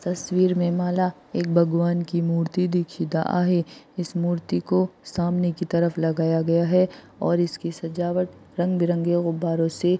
तस्वीर में मला एक भगवान की मूर्ति दीक्षित आहे इस मूर्ति को सामने के तरफ लगया गया है और इसकी सजावट रंग बिरंगी गुब्बारों से--